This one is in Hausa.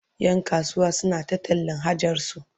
Yan kasuwa suna ta tallan hajarsu